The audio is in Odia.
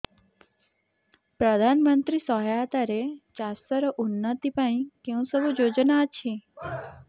ପ୍ରଧାନମନ୍ତ୍ରୀ ସହାୟତା ରେ ଚାଷ ର ଉନ୍ନତି ପାଇଁ କେଉଁ ସବୁ ଯୋଜନା ଅଛି